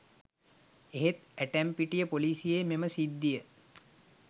එහෙත් ඇටැම්පිටිය පොලිසියේ මෙම සිද්ධිය